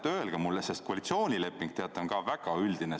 Öelge mulle, sest koalitsioonileping on selle koha pealt väga üldine.